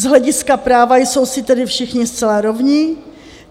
Z hlediska práva jsou si tedy všichni zcela rovni.